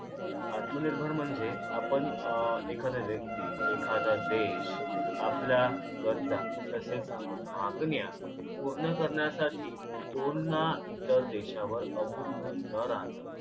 आत्मनिर्भर म्हणजे आपण अं एखाद्या व्यक्ती एखादा देश आपल्या गरजा तसेच मागण्या पूर्ण करण्यासाठी कोण ना इतर देशावर अवलंबून न राहता